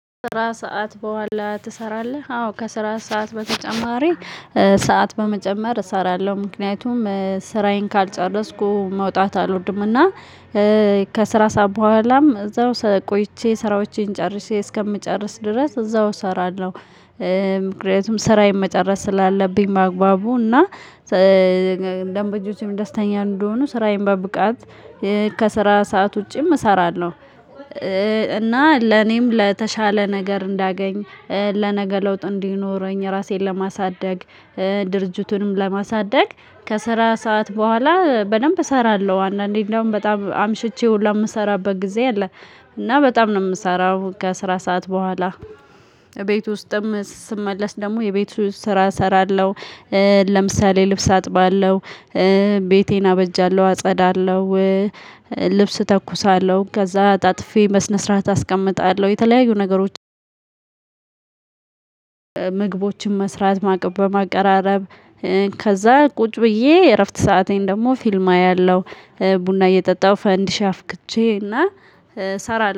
ስራ ሰዓት በኋላ ትሰራለህ አዎ ከስራ ሰዓት በተጨማሪ ሰዓት በመጨመር እሰራለሁ ምክንያቱም ስራዬን ካልጨረስኩ መውጣት አልወድምና። ከስራ ሰዓት በኋላም እዛው ቆይቼ ስራዎቼን ጨርሼ እስከምጨርስ ድረስ እዛው እሰራለሁ። ምክንያቱም ስራዬን መጨረስ ስላለብኝ በአግባቡ እና ደንበኞቼም ደስተኛ እንዲሆኑ ስራዬን በብቃት ከስራ ሰዓት ውጪም እሰራለሁ። እና ለኔም ለተሻለ ነገር እንዳገኝ ለነገ ለውጥ እንዲኖረኝ ራሴን ለማሳደግ ድርጅቱንም ለማሳደግ ከስራ ሰዓት በኋላ በደንብ እሰራለሁ። አንዳንዴ እንደውም በጣም አምሽቼ ሁሉ የምሰራበት ጊዜ አለ እና በጣም ነው የምሰራው። ከስራ ሰዓት በኋላ ቤት ውስጥም ስመለስ ደግሞ የቤት ውስጥ ስራ እሰራለሁ። ለምሳሌ ልብስ አጥባለሁ። ቤቴን አበጃለሁ አጸዳለሁ። ልብስ እተኩሳለሁ ከዛ አጣጥፌ በስነ ስርዓት አስቀምጣለሁ የተለያዩ ነገሮች። ምግቦችን መስራት ማቅረብ በማቀራረብ ከዛ ቁጭ ብዬ የእረፍት ሰአቴን ደግሞ ፊልም አያለሁ። ቡና እየጠጣሁ ፈንዲሽ አፍክቼ እና ሰራለሁ